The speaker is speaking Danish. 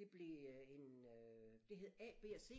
Det blev øh en øh det hed A B og C